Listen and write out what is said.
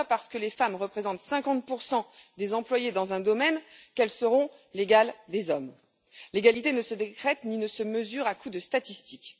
Ce n'est pas parce que les femmes représentent 50 des employés dans un domaine qu'elles seront les égales des hommes. L'égalité ne se décrète ni ne se mesure à coups de statistiques.